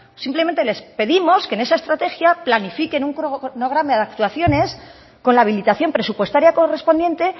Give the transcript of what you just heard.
simplemente les pedimos que en esa estrategia planifiquen un cronograma de actuaciones con la habilitación presupuestaria correspondiente